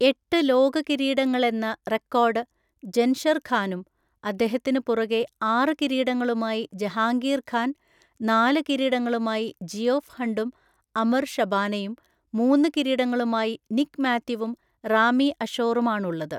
എട്ട് ലോക കിരീടങ്ങളെന്ന റെക്കോർഡ് ജൻഷർ ഖാനും അദ്ദേഹത്തിന് പുറകെ ആറ് കിരീടങ്ങളുമായി ജഹാംഗീർ ഖാൻ, നാല് കിരീടങ്ങളുമായി ജിയോഫ് ഹണ്ടും അംർ ഷബാനയും, മൂന്ന് കിരീടങ്ങളുമായി നിക് മാത്യുവും റാമി അഷോറും ആണുള്ളത്.